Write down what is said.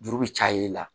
Juru bɛ caya i la